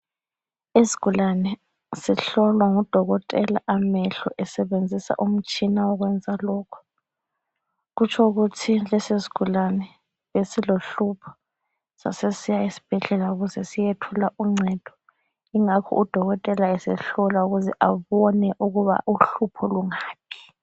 Isigulane sihlolwa ngudokothela amehlo , esebenzisa umtshina wokwenza lokhu. Kutsho ukuthi lesi sigulane besilohlupho ,sasesisiya esibhedlela ukuze siyethola uncedo. Ingakho udokotela esehlola ukuze abone ukuba uhlupho lungaphi.